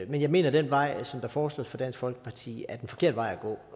jeg mener at den vej som foreslås af dansk folkeparti er den forkerte vej